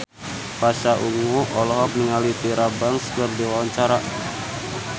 Pasha Ungu olohok ningali Tyra Banks keur diwawancara